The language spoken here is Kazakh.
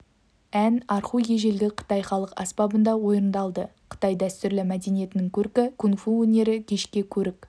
ән арху ежелгі қытай халық аспабында орындалды қытай дәстүрлі мәдениетінің көркі кунг-фу өнері кешке көрік